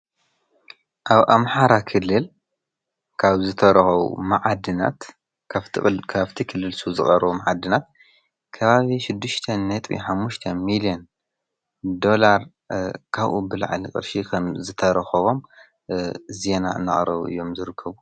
ኣብ ኣምሓራ ክልል ካብ ዝተረኸቡ ማዓድናት ካብ ክልል ሱ ዝቐረቡ ማዓድናት ከባቢ ሽድሽተ ነጥቢ ሓሙሽተ ሚሊዮን ዶላር ካብኡ ብላዕሊ ቕርሺ ከም ዝተረኸቦም ዜና እናቕረቡ እዮም ዝረከቡ።